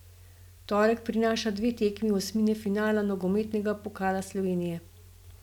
Torek prinaša dve tekmi osmine finala nogometnega Pokala Slovenije.